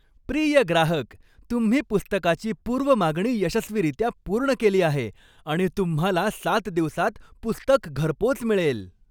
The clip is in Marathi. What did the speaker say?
प्रिय ग्राहक! तुम्ही पुस्तकाची पूर्व मागणी यशस्वीरित्या पूर्ण केली आहे आणि तुम्हाला सात दिवसांत पुस्तक घरपोच मिळेल.